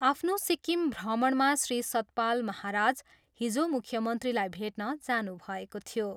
आफ्नो सिक्किम भ्रमणमा श्री सतपाल महाराज हिजो मुख्यमन्त्रीलाई भेट्न जानुभएको थियो।